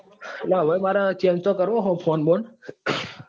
એટલે મારે change તો કરવો છે ફોન બોન.